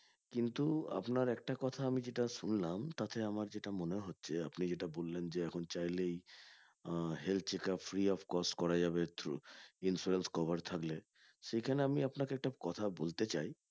কিন্তু আপনার একটা কথা আমি যেটা শুনলাম তাতে আমার যেটা মনে হচ্ছে আপনি যেটা বললেন বললাম যে এখন চাইলেই ah health checkup free of cost করা যাবে through insurance cover থাকলে